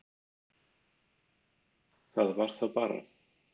Það var þá bara